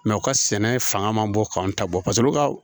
u ka sɛnɛ fanga man bon k'anw ta bɔ paseke olu ka